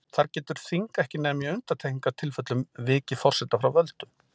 Þar getur þing ekki nema í undantekningartilfellum vikið forseta frá völdum.